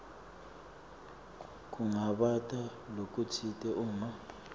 kungabata lokutsite uma